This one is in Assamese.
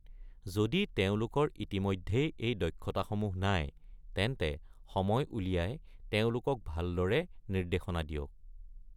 যদি তেওঁলোকৰ ইতিমধ্যেই এই দক্ষতাসমূহ নাই, তেন্তে সময় উলিয়াই তেওঁলোকক ভালদৰে নিৰ্দেশনা দিয়ক।